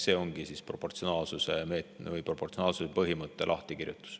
See ongi proportsionaalsuse põhimõte.